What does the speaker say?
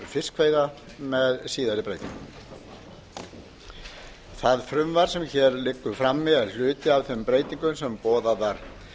fiskveiða með síðari breytingum það frumvarp sem hér liggur frammi er hluti af þeim breytingum sem boðaðar